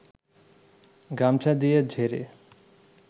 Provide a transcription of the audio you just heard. গামছা দিয়ে ঝেড়ে